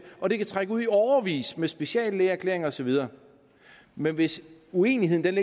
og det kan trække ud i årevis med speciallægeerklæringer og så videre men hvis uenigheden